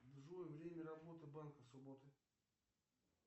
джой время работы банка в субботу